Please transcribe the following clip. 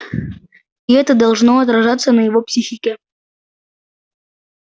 и это должно отражаться на его психике